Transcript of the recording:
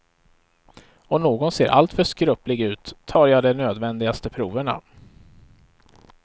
Om någon ser alltför skröplig ut tar jag de nödvändigaste proverna.